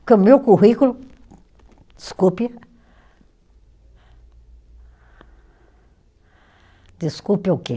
Porque o meu currículo, desculpe, desculpe o quê?